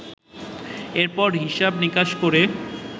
এরপর হিসেব- নিকাশ করে